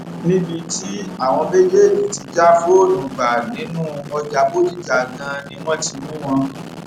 níbi tí àwọn méjèèjì ti já fóònù gbà nínú ọjà bọdíjà ganan ni wọn ti mú wọn